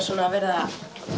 verið að